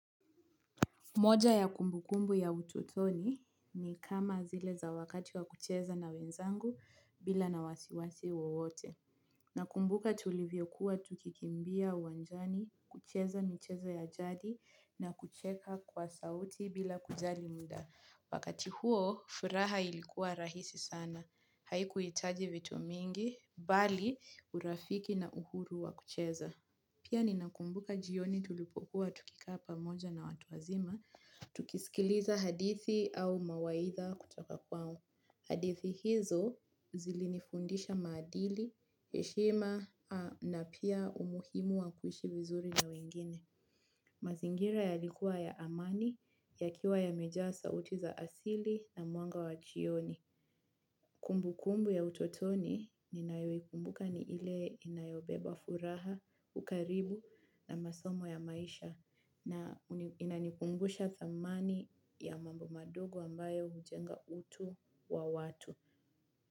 Moja ya kumbukumbu ya ututoni ni kama zile za wakati wa kucheza na wenzangu bila na wasiwasi wowote. Nakumbuka tulivyo kuwa tukikimbia uwanjani, kucheza michezo ya jadi na kucheka kwa sauti bila kujali mda. Wakati huo, furaha ilikuwa rahisi sana. Haikuhitaji vitu mingi, bali urafiki na uhuru wa kucheza. Pia ninakumbuka jioni tulipokuwa tukikaa pamoja na watu wazima, tukisikiliza hadithi au mawaitha kutoka kwao. Hadithi hizo zilinifundisha maadili, heshima na pia umuhimu wa kuishi vizuri na wengine. Mazingira yalikuwa ya amani, yakiwa yamejaa sauti za asili na mwanga wa jioni. Kumbu kumbu ya utotoni ninayo ikumbuka ni ile inayobeba furaha, ukarimu na masomo ya maisha na inanikumbusha thamani ya mambo madogo ambayo hujenga utu wa watu.